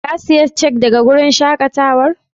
Ka siya cak daga wurin shakatawan?